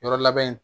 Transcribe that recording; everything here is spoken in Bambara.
Yɔrɔ labɛn